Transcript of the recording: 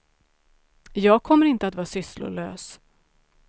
Jag kommer inte att vara sysslolös.